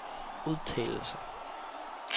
udtalelser